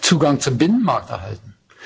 Zugang zum Binnenmarkt erhalten?